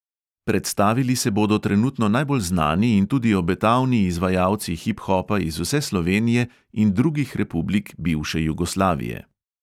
Predstavili se bodo trenutno najbolj znani in tudi obetavni izvajalci hip hopa iz vse slovenije in drugih republik bivše jugoslavije.